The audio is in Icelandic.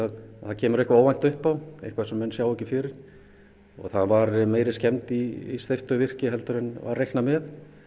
kemur eitthvað óvænt upp á eitthvað sem menn sáu ekki fyrir það var meiri skemmd í steyptu virki en var reiknað með